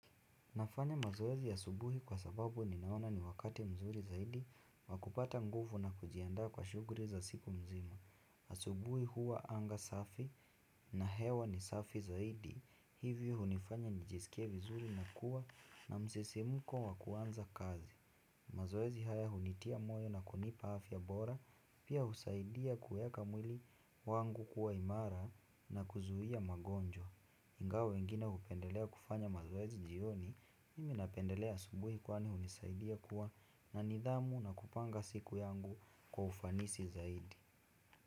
Nafanya mazoezi asubuhi kwa sababu ninaona ni wakati mzuri zaidi wa kupata nguvu na kujiandaa kwa shughuli za siku nzima asubuhi huwa anga safi na hewa ni safi zaidi. Hivyo hunifanya nijisikie vizuri na kuwa na msisimko wa kuanza kazi. Mazoezi haya hunitia moyo na kunipa afya bora, pia husaidia kuweka mwili wangu kuwa imara na kuzuia magonjwa. Ingawa wengine hupendelea kufanya mazoezi jioni, mimi napendelea asubuhi kwani hunisaidia kuwa na nidhamu na kupanga siku yangu kwa ufanisi zaidi.